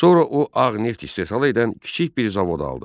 Sonra o ağ neft istehsal edən kiçik bir zavod aldı.